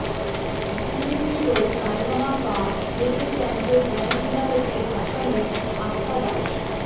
Zee TV show Sa Re Ga Ma Pa little চ্যাম্পসের grand ফিনালেতে অসমের আস্থা দাস